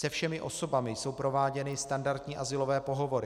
Se všemi osobami jsou prováděny standardní azylové pohovory.